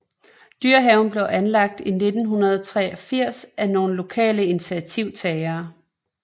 Dyrehaven blev anlagt i 1983 af nogle lokale initiativtagere